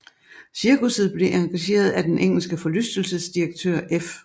Cirkusset blev engageret af den engelske forlystelsesdirektør F